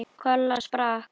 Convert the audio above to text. Kolla sprakk.